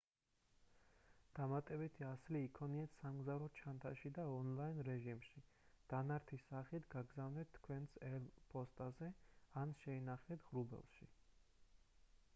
დამატებითი ასლი იქონიეთ სამგზავრო ჩანთაში და ონლაინ რეჟიმში დანართის სახით გააგზავნეთ თქვენს ელ. ფოსტაზე ან შეინახეთ ღრუბელში